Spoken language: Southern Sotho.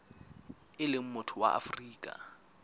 e leng motho wa afrika